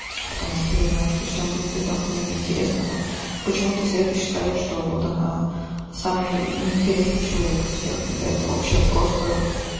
потому что я знаю что всем будет это ахуенно интересно но почему-то света считает что вот она самый неинтересный человек из всех когда это вообще просто